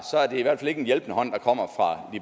er det ikke en hjælpende hånd der kommer